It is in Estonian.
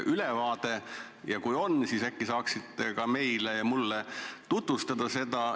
Kui see on teil olemas, siis äkki saaksite seda ka meile tutvustada?